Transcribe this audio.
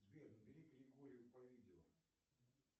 сбер набери григорию по видео